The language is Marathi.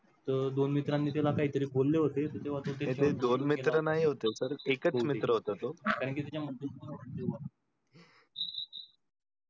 तर दोन मित्रांनी त्याला काय तर बोले होते तेव्हा त्याचे दोन मित्र एकच मित्र होता तो